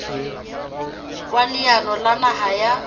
wa leano la naha la